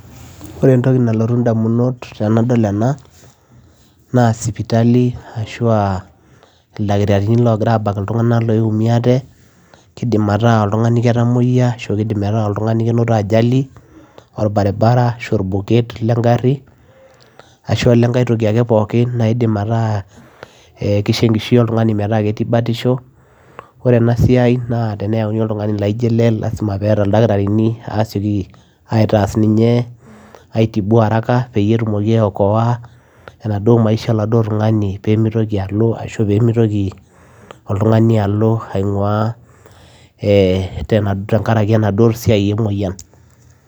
Ore entokii nalotu idamunot tenadol enaa naa sipitali ashua ildakitarini loogiraa abak ilntunganak ooumiate kidim ataa ketqmoyiaa ashua ajali oo baribara ashuaa olengae toki ake naikoo enkishui oltunganii metaaa ketii batishoo oree ena siai teneyauni oltunganii lazima peyiee esiokii ildakitarini assiokii aaitibuu ninyee haraka peyiee iokoa enaduo maisha oladuo tungani peyiee mitokii ilntunganak aapuo tenkaraki emoyian